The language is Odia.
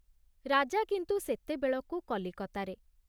ରାଜା କିନ୍ତୁ ସେତେବେଳକୁ କଲିକତାରେ।